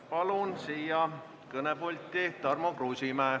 Palun kõnepulti Tarmo Kruusimäe.